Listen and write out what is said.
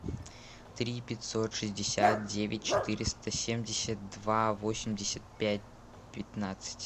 три пятьсот шестьдесят девять четыреста семьдесят два восемьдесят пять пятнадцать